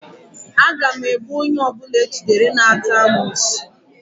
A ga-egbu onye ọbụla ejidere na-ata amoosu